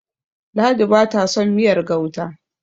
ladi ba ta son miyar gauta